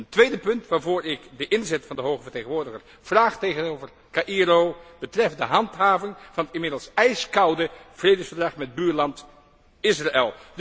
Een tweede punt waarvoor ik de inzet van de Hoge vertegenwoordiger vraag tegenover Caïro, betreft de handhaving van het inmiddels ijskoude vredesverdrag met buurland Israël.